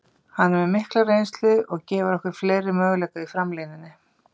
Hann er með mikla reynslu og gefur okkur fleiri möguleika í framlínunni.